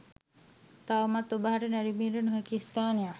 තවමත් ඔබ හට නැරඹීමට නොහැකි ස්ථානයක්